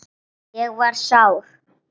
Ég var sár.